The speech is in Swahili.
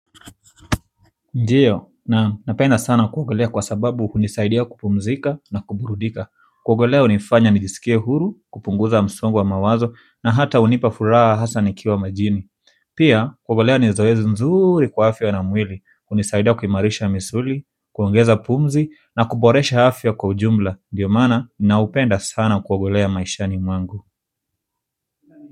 Ndiyo, napenda sana kuogelea kwa sababu hunisaidia kupumzika na kuburudika kuogelea hunifanya nijisikie huru, kupunguza msongo wa mawazo na hata hunipa furaha hasa nikiwa majini pia, kuogelea ni zoezi nzuri kwa afya na mwili, hunisaidia kuimarisha misuli, kuongeza pumzi na kuboresha afya kwa ujumla ndiyo maana, napenda sana kuogelea maishani mwangu.